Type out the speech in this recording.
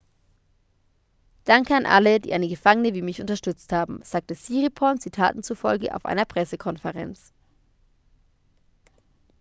danke an alle die eine gefangene wie mich unterstützt haben sagte siriporn zitaten zufolge auf einer pressekonferenz